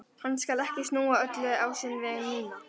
Hann skal ekki snúa öllu á sinn veg núna.